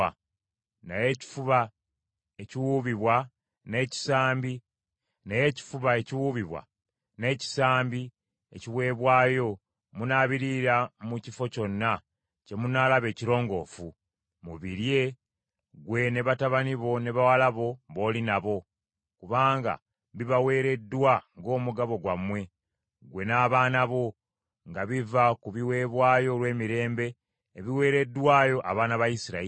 Naye ekifuba ekiwuubibwa n’ekisambi ekiweebwayo munaabiriira mu kifo kyonna kye munaalaba ekirongoofu; mubirye, ggwe ne batabani bo ne bawala bo b’oli nabo; kubanga bibaweereddwa ng’omugabo gwammwe, ggwe n’abaana bo, nga biva ku biweebwayo olw’emirembe ebiweereddwayo abaana ba Isirayiri.